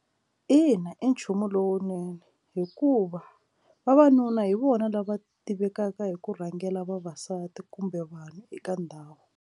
Ina, i nchumu lowunene hikuva vavanuna hi vona lava tivekaka hi ku rhangela vavasati kumbe vanhu eka ndhawu.